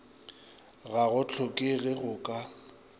ga go hlokege go ka